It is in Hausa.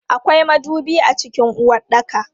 Akwai madubi a cikin uwaɗɗaka.